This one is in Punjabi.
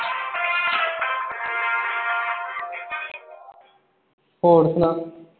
ਹੋਰ ਸੁਣਾਂ